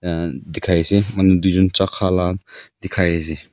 and dikhai ase manu duijun chai khala dikhai ase.